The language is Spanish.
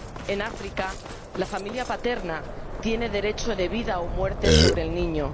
En África la familia paterna tiene derecho de vida o muerte sobre el niño.